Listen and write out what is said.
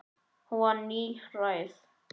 Hún var níræð.